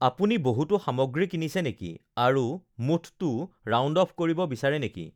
আপুনি বহুতো সামগ্ৰী কিনিছে নেকি আৰু মুঠটো ৰাউণ্ড অফ কৰিব বিচাৰে নেকি?